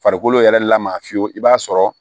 Farikolo yɛrɛ la maa fiyewu i b'a sɔrɔ